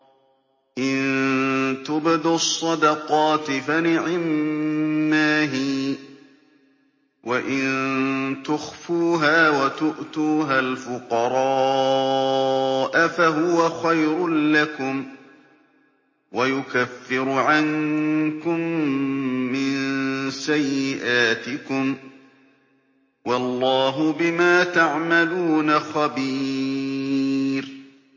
إِن تُبْدُوا الصَّدَقَاتِ فَنِعِمَّا هِيَ ۖ وَإِن تُخْفُوهَا وَتُؤْتُوهَا الْفُقَرَاءَ فَهُوَ خَيْرٌ لَّكُمْ ۚ وَيُكَفِّرُ عَنكُم مِّن سَيِّئَاتِكُمْ ۗ وَاللَّهُ بِمَا تَعْمَلُونَ خَبِيرٌ